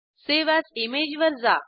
save as image वर जा